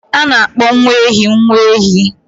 A na-akpọ nwa ehi nwa ehi.